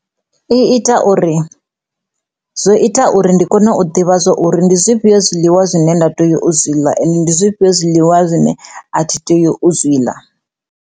I ita uri zwo ita uri ndi kone u ḓivha zwa uri ndi zwifhiyo zwiḽiwa zwine nda tea u zwi ḽa ende ndi zwifhio zwiḽiwa zwine a thi tea u zwiḽa.